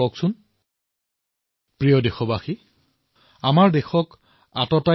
আপোনালোকে প্ৰতিবছৰে নৱবৰ্ষৰ প্ৰতিজ্ঞা গ্ৰহণ কৰে এইবাৰ এনে এক প্ৰতিজ্ঞা দেশৰ বাবে গ্ৰহণ কৰক